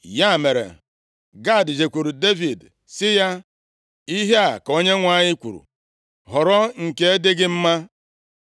Ya mere Gad jekwuuru Devid sị ya, “Ihe a ka Onyenwe anyị kwuru, Họrọ nke dị gị mma.